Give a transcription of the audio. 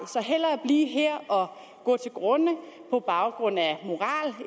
hellere blive her og gå til grunde på baggrund af moral